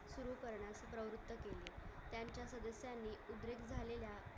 झालेल्या